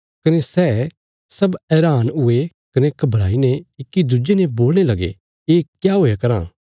कने सै सब हैरान हुये कने घबराई ने इक्की दुज्जे ने बोलणे लगे ये क्या हुया राँ